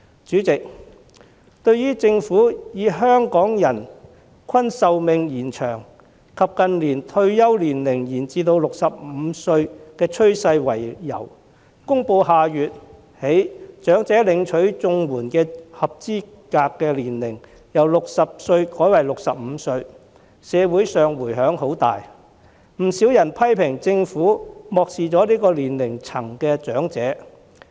主席，對於政府以香港人均壽命延長及近年退休年齡延至65歲的趨勢為由，公布下月起把領取長者綜援的合資格年齡由60歲改為65歲，社會上迴響很大，不少人批評政府漠視此年齡層的長者。